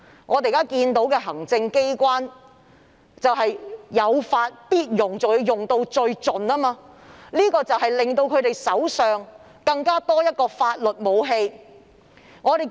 我們看到，行政機關有法必用，更用到最盡，令他們手上多了一種法律武器。